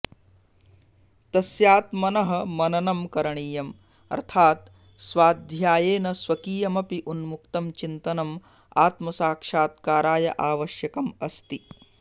तस्यात्मनः मननं करणीयम् अर्थात् स्वाध्यायेन स्वकीयमपि उन्मुक्तं चिन्तनम् आत्मसाक्षात्काराय आवश्यकम् अस्ति